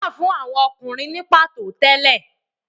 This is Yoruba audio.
Sòkòtò wà fún àwọn Ọkùnrin ní pàtó tẹ́lẹ̀.